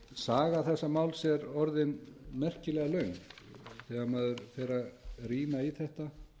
saga þessa máls er orðin merkilega löng þegar maður fer að rýna í þetta